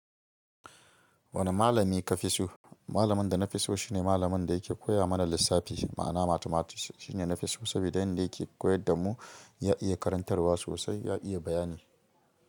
Wane malami ka fi so? Malamin da na fi so shine malamin da yake koya mana lissafi. Ma'ana mathematics shine na fi so saboda yanda yake koyar da mu ya iya karantarwa sosai, ya iya bayani.